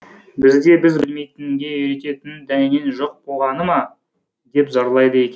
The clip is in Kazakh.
бізді біз білмейтінге үйрететін дәнеңең жоқ болғаны ма деп зарлайды екен